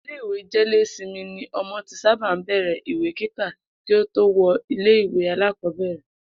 Ilé ìwé jé̩-lé-simi ni o̩mo̩ ti sábà ń bè̩rè̩ ìwé kíkà kí ó tó wo̩ ilé ìwé alákò̩ó̩bèrè̩